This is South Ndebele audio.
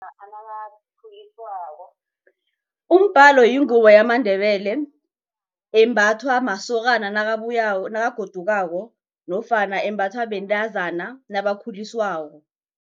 Umbhalo yingubo yamaNdebele embathwa masokana nakabuyako nakagodukako nofana embathwa bantazana nabakhuliswako.